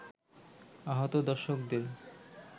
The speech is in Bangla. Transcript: আহত দর্শকদের